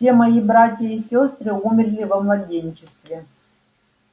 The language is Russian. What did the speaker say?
все мои братья и сёстры умерли во младенчестве